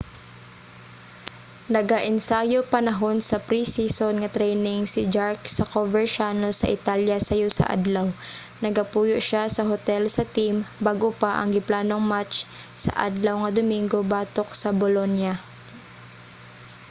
nagaensayo panahon sa pre-season nga training si jarque sa coverciano sa italya sayo sa adlaw. nagapuyo siya sa hotel sa team bag-o pa ang giplanong match sa adlaw nga domingo batok sa bolonia